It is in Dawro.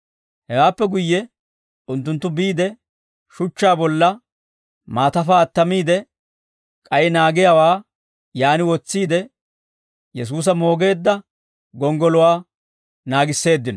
Hewaappe guyye unttunttu biide, shuchchaa bolla maatafaa attamiide, k'ay naagiyaawaa yaan wotsiide, Yesuusa moogeedda gonggoluwaa naagisseeddino.